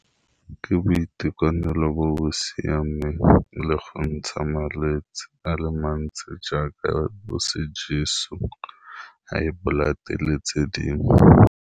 Ke boitekanelo bo bo siameng le go ntsha malwetsi a le mantsi jaaka bo sejeso, high blood le tse dingwe.